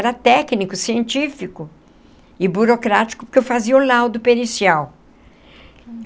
Era técnico, científico e burocrático, porque eu fazia o laudo pericial.